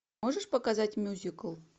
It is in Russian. можешь показать мюзикл